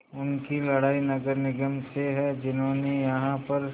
उनकी लड़ाई नगर निगम से है जिन्होंने यहाँ पर